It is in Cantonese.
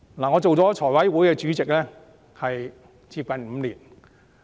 我擔任財務委員會主席接近5年。